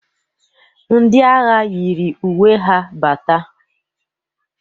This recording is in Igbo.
Ndị agha yiri uwe ha bata.